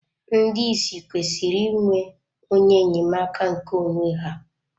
Ndị ìsì kwesịrị ịnwe onye enyemaka nke onwe ha..